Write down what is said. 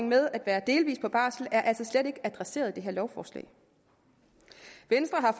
med at være delvis på barsel er altså slet ikke adresseret i det her lovforslag venstre har